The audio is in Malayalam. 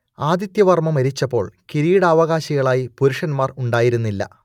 ആദിത്യവർമ്മ മരിച്ചപ്പോൾ കിരീടാവകാശികളായി പുരുഷന്മാർ ഉണ്ടായിരുന്നില്ല